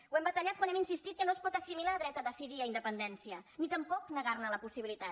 ho hem batallat quan hem insistit que no es pot assimilar dret a decidir a independència ni tampoc negar ne la possibilitat